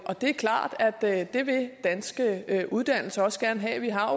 er klart at det vil danske uddannelser også gerne have vi har